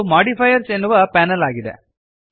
ಇದು ಮಾಡಿಫೈಯರ್ಸ್ ಎನ್ನುವ ಪ್ಯಾನಲ್ ಆಗಿದೆ